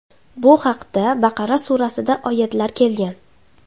Bu haqda Baqara surasida oyatlar kelgan.